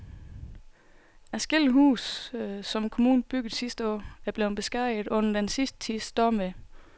Adskillige af de huse, som kommunen byggede sidste år, er blevet beskadiget under den sidste tids stormvejr.